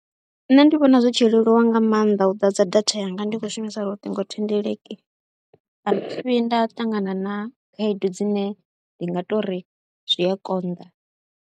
Nṋe ndi vhona zwi tshi leluwa nga maanḓa u ḓadza data yanga ndi khou shumisa luṱingothendeleki, a thi vhi nda ṱangana na khaedu dzine ndi nga tou ri zwi a konḓa.